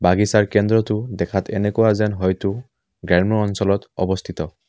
বাগিচাৰ কেন্দ্ৰটো দেখাত এনেকুৱা যেন হয়টো গ্ৰাম্য অঞ্চলত অৱস্থিত।